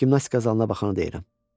Gimnastika zalına baxanı deyirəm.